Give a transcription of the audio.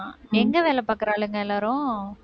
எங்க வேலை பாக்குற ஆளுங்க எல்லாரும்?